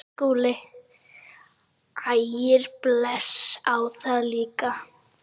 SKÚLI: Ægir blæs á það líka.